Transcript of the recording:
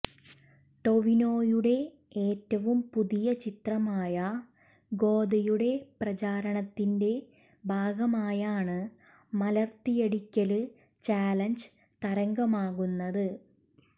ടൊവിനോയുടെ ഏറ്റവും പുതിയ ചിത്രമായ ഗോദയുടെ പ്രചരണത്തിന്റെ ഭാഗമായാണ് മലര്ത്തിയടിക്കല് ചാലഞ്ച് തരംഗമാകുന്നത്